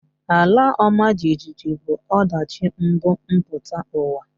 Ala ọma jijiji bụ ọdachi mbumputauwa